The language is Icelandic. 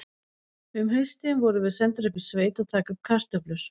Um haustið vorum við sendar upp í sveit að taka upp kartöflur.